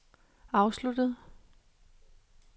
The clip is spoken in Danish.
afsluttet